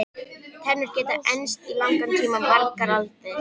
Tennur geta enst í langan tíma- margar aldir.